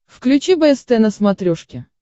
включи бст на смотрешке